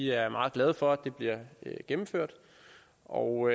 er meget glade for at det bliver gennemført og